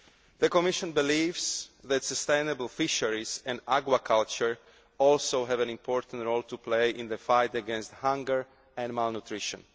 The Commission believes that sustainable fisheries and aqua culture also have an important role to play in the fight against hunger and malnutrition.